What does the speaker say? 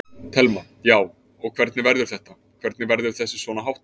Telma: Já, og hvernig verður þetta, hvernig verður þessu svona háttað?